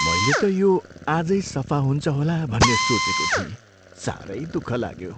मैले त यो आजै सफा हुन्छ होला भन्ने सोचेको थिएँ। साह्रै दुःख लाग्यो।